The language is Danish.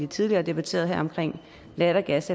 tidligere debatterede lattergas